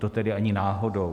To tedy ani náhodou.